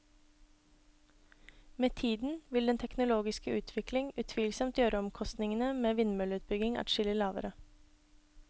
Med tiden vil den teknologiske utvikling utvilsomt gjøre omkostningene ved vindmølleutbygging adskillig lavere.